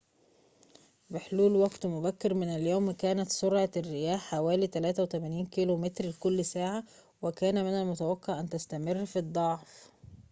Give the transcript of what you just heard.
بحلول وقت مبكر من اليوم، كانت سرعة الرياح حوالي 83 كم/ساعة، وكان من المتوقع أن تستمر في الضعف